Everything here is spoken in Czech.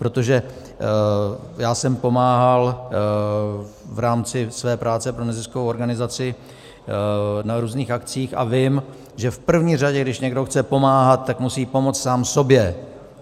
Protože já jsem pomáhal v rámci své práce pro neziskovou organizaci na různých akcích a vím, že v první řadě, když někdo chce pomáhat, tak musí pomoct sám sobě.